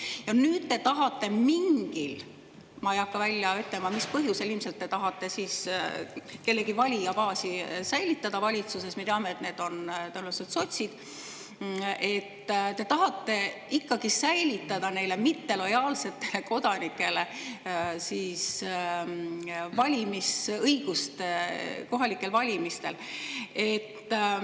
Ja nüüd te tahate mingil, ma ei hakka välja ütlema, mis põhjusel – ilmselt te tahate kellegi valijabaasi säilitada valitsuses, me teame, et need on tõenäoliselt sotsid –, ikkagi säilitada neile mittelojaalsetele kodanikele valimisõiguse kohalikel valimistel.